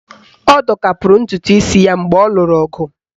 Ọ dọkapụrụ ntụtụisi ya mgbe ọ lụrụ ọgụ